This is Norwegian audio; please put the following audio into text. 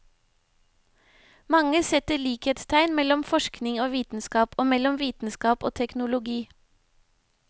Mange setter likhetstegn mellom forskning og vitenskap, og mellom vitenskap og teknologi.